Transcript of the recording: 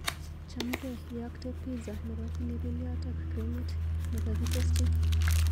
Chamgee, iyakte pizza nebo pilipiliot ak krimit nekakitesyi.